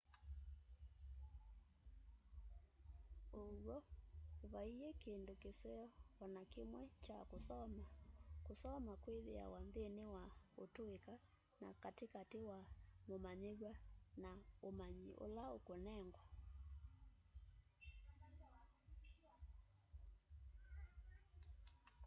ũw'o vaiĩ kĩndũ kĩseo o na kĩmwe kya kusoma kũsoma kwĩthĩawa nthini wa ũtuika na katĩ katĩ wa mũmanyiw'a na umanyi ula ũkunengwa